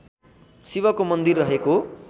शिवको मन्दिर रहेको